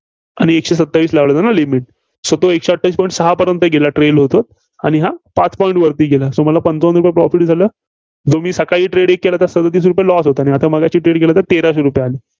आणि एकशे सत्तावीस लावली होतीनां? limit, so तो एकशे अठ्ठावीस point सहापर्यंत गेला trail होत होत. आणि हा पाच point वरती गेला. so मला पंचावन्न रुपये Proft झालं. जो मी सकाळी एक trade केला, त्यास सदतीस रुपये loss होता. आता मगाशी trade केला त्यात तेराशे रुपये आले.